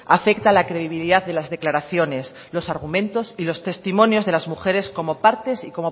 afecta a la credibilidad de las declaraciones los argumentos y los testimonios de las mujeres como partes